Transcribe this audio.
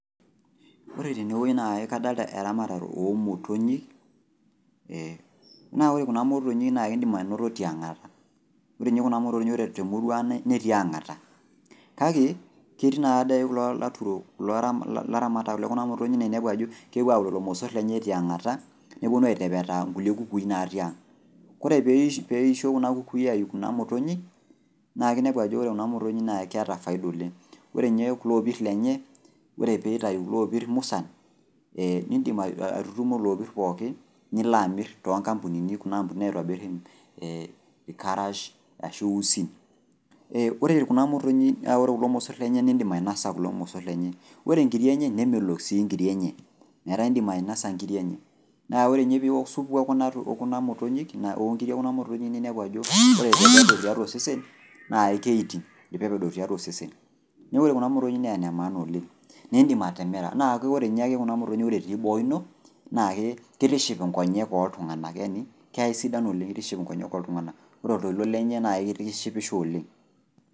Ore tenewuei naa kadolta eramatare oomotonyi ee naa ore kuna motonyi naa indim anoto tiangata, ore ninye kuna motonyi ore temuruang' netii ang'ata. Kake, ketii naadei kulo laturok laramatak le kuna motonyi naainepu ajo kepuo aau lelo mossorr lenye tiangata nepuonu aitepetaa nkulie kukui natii ang'. Kore peeisho kuna kukui aiu kuna motonyi naake inepu ajo kore kuna motonyi naa ekeata faida oleng'. Ore ninye kulo opirr lenye ore peeitau kuloopirr musan ee nindim aitutumo loopirr pooki niloamirr tonkampunini kuna ampunini naitobirr [ee] ilkarash ashu usin. Eeh kore kuna motonyi naa ore kulo mossorr lenye naa indim ainosa kulo mossorr lenye, ore nkiri enye nemelok sii nkiri enye metaa indim ainosa nkiri enye. Naa ninye piiwok subu e kuna motonyi, oonkiri e kuna motonyi ninepu ajo ore tenebik tiatua osesen naa keeiting' ilpepedo tiatua osesen. Neaku ore kuna motonyi naa nemaana oleng' neeidim atimira, naake ore ninye ake kuna motonyi ore etii boo ino naake keitiship inkonyek ooltung'ana yaani keisidan oleng' eitiship inkonyek oltung'ana, kore oltoilo lenye naa keitishipisho oleng'.